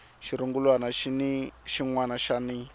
xirungulwana xin wana na xin